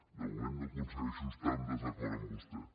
de moment no aconsegueixo estar en desacord amb vostè